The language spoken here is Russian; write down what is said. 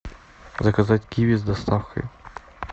заказать киви с доставкой